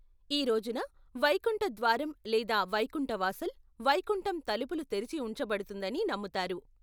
ఈ రోజున, వైకుంఠ ద్వారం లేదా వైకుంఠ వాసల్, వైకుంఠం తలుపులు తెరిచి ఉంచబడుతుందని నమ్ముతారు.